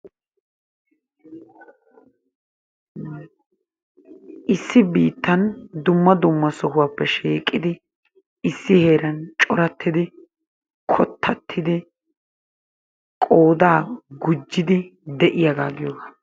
Issi biittan dumma dumma sohuwappe shiiqidi issi heeran corattidi kottatidi qooda gujjidi de'iyaaga giyoogaa.